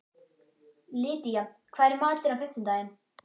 Lydía, hvað er í matinn á fimmtudaginn?